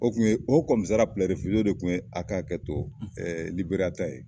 O kun ye o de kun ye a ka hakɛ to Liberiya ta ye.